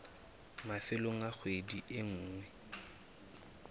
mafelong a kgwedi e nngwe